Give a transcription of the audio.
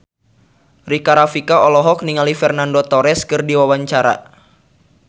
Rika Rafika olohok ningali Fernando Torres keur diwawancara